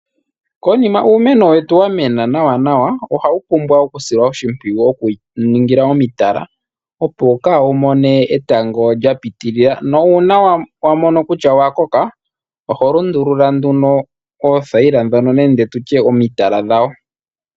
Konima uumeno wetu wamena nawa, ohawu pumbwa okusilwa oshimpwiyu nokuwu ningila omitala, opo kawu mone etango lyapitilila. Uuna wa mono utya owa koka oho lundula nduno oothayila nenge omitala dhawo.